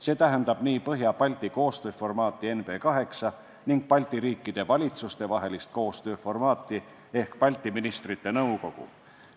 See tähendab nii Põhja-Balti koostööformaati ehk NB 8 kui ka Balti riikide valitsuste vahelist koostööformaati ehk Balti Ministrite Nõukogu.